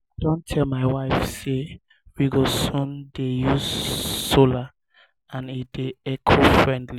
i don tell my wife say we go soon dey use solar and e dey eco friendly